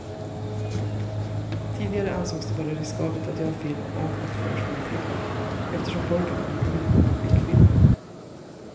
Tidigare ansågs det vara riskabelt att göra film om och för småflickor eftersom pojkarna inte ville gå på flickfilmer.